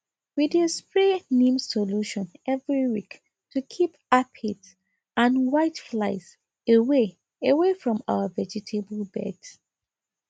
we dey spray neem solution every week to keep aphids and whiteflies away away from our vegetable beds